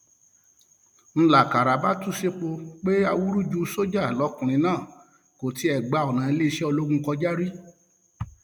ń lákàrà bá tú sẹpẹ pé awúrúju sójà lọkùnrin náà kò tiẹ gba ọnà iléeṣẹ ológun kọjá rí